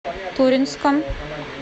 туринском